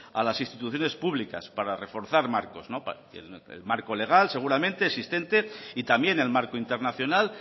a las instituciones públicas para reforzar marcos el marco legal seguramente existente y también el marco internacional